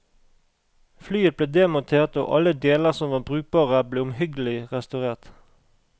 Flyet ble demontert og alle deler som var brukbare ble omhyggelig restaurert.